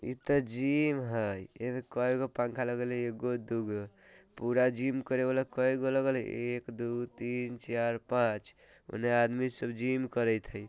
इते जिम हय एमें केएगो पंखा लगल हय एगो दु गो पूरा जिम करे बाला कएगो लगल हय एक दु तीन चार पांच ओने आदमी सब जिम करेएत हय।